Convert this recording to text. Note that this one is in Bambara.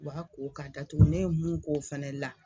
B'a ko k'a datugu ne ye mun k'o fɛnɛ la